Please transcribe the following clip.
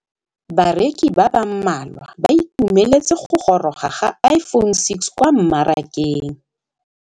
Bareki ba ba malwa ba ituemeletse go gôrôga ga Iphone6 kwa mmarakeng.